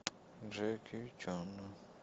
джеки чан